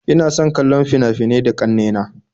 Ina son kallon fina-finai da ƙanne na